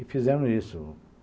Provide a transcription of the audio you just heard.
E fizemos isso.